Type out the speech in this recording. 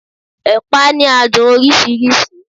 ẹpa ni adun orisirisi